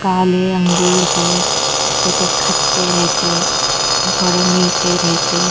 काले अंगूर है जो के खट्टे रेहते ख थोड़े मीठे रेहते--